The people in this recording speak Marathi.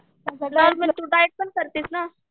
तू डाएट पण करतीस ना?